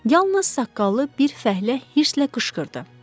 Yalnız saqqallı bir fəhlə hirsə qışqırdı.